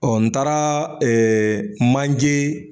Ɔ n taara manjɛɛ.